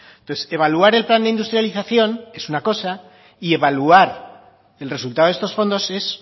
entonces evaluar el plan de industrialización es una cosa y evaluar el resultado de estos fondos es